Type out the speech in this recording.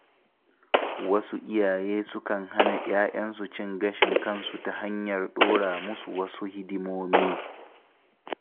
Wasu iyaye sukan hana ‘ya‘yansu cin gashin kansu ta hanyar ɗora musu wasu hidimomi.